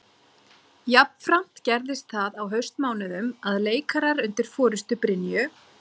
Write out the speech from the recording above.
Jafnframt gerðist það á haustmánuðum að leikarar undir forustu Brynju